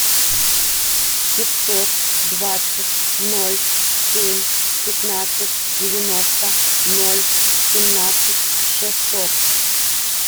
пятьсот двадцать ноль семь пятнадцать девяносто ноль семнадцать шестьсот